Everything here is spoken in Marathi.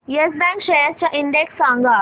येस बँक शेअर्स चा इंडेक्स सांगा